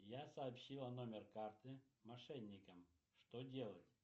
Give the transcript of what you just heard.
я сообщила номер карты мошенникам что делать